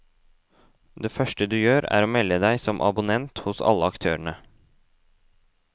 Det første du gjør er å melde deg som abonnent hos alle aktørene.